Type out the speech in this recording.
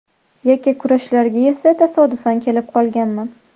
Yakkakurashlarga esa tasodifan kelib qolganman.